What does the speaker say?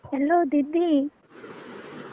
Hello ଦିଦି।